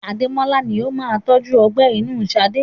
Ademola ni ó máa tọju ọgbẹ́ inú Sade.